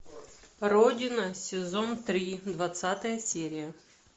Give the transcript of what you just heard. родина сезон три двадцатая серия